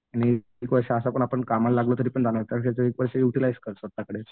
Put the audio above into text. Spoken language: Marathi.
आणि एक वर्ष असं पण आपण कामाला लागलो तरी जाणारच त्यापेक्षा एक वर्ष युटिलाईझ कर स्वतःकडे.